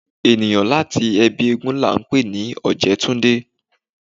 Èniyàn láti ẹbí éégún la ńpè ní ojetunde